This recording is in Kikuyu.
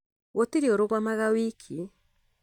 Gũtirĩ ũrũgamaga wiki